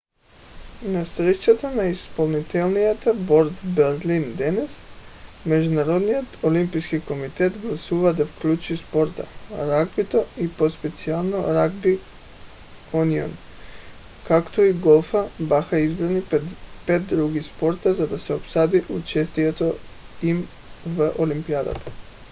на срещата на изпълнителния борд в берлин днес международният олимпийски комитет гласува да включи спорта. ръгбито и по-специално ръгби юнион както и голфът бяха избрани пред пет други спорта за да се обсъди участието им в олимпиадата